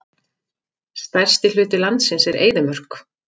Stærsti hluti landsins er eyðimörk.